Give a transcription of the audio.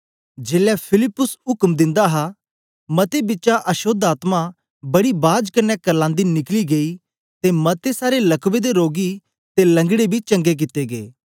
जेलै फिलिप्पुस उक्म दिंदा हा मतें बिचा अशोद्ध आत्मा बड़ी बाज कन्ने करलांदी निकली गेई ते मते सारे लकवे दे रोगी ते लंगड़े बी चंगे कित्ते गै